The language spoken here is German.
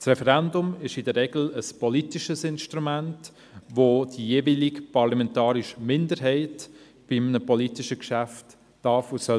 Das Referendum ist in der Regel ein politisches Instrument, welches die jeweilige parlamentarische Minderheit bei einem politischen Geschäft gebrauchen darf und soll.